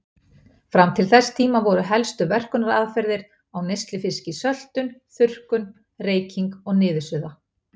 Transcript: Fram til þess tíma voru helstu verkunaraðferðir á neyslufiski söltun, þurrkun, reyking og niðursuða.